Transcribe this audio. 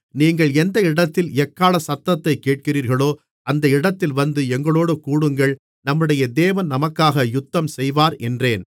நீங்கள் எந்த இடத்தில் எக்காளச் சத்தத்தைத் கேட்கிறீர்களோ அந்த இடத்தில் வந்து எங்களோடு கூடுங்கள் நம்முடைய தேவன் நமக்காக யுத்தம்செய்வார் என்றேன்